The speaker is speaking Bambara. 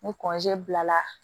Ni bila la